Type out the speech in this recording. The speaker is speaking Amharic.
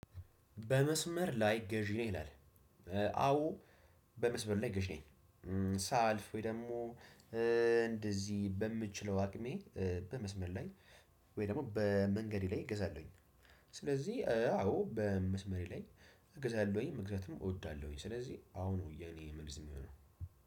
በመስመር ላይ ገዢ ነህ ይላል? አዎ በመስመር ላይ ገዢ ነኝ። ሳልፍ ወይ ደሞ እንደዚህ በምችለው አቅሜ በመስመር ላይ። ወይ ደሞ በመንገዴ ላይ እገዛለሁኝ። ስለዚህ አዎ በመስመሬ ላይ እገዛለሁኝ ምክንያቱም እወዳለሁኝ ስለዚህ አዎ ነው የኔ መልስ የሚሆነው።